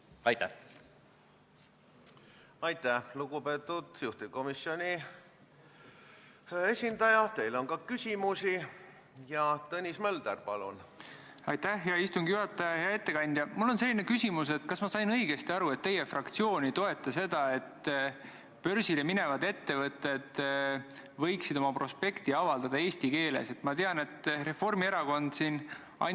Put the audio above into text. Arutelu käigus tekkis see küsimus ja ministeeriumi esindaja vastus oli, nagu ma ka eespool korra mainisin, et kuna rohkem pikendada ei ole võimalik, vaid saab pikendada ainult kaks perioodi, siis viie aasta pärast määruse pikendamine ei ole võimalik, ja sellega peavad nii raudtee-ettevõtjad kui ka infrastruktuuri omanikud arvestama.